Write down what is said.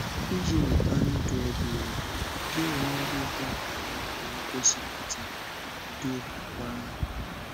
Ịji nweta ndụ ebighị ebi, gị onwe gị kwa, aghaghị igosipụta ụdị okwùkwè ahụ.